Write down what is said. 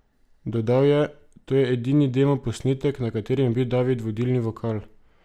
Dodal je: "To je edini demo posnetek, na katerem je bil David vodilni vokal.